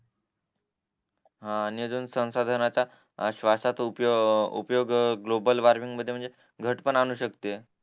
हा आणि अजून संशोधनाच्या श्ववाशात उपयोग ग्लोबल वॉर्मिंग मध्ये म्हणजे घट पण आणू शकते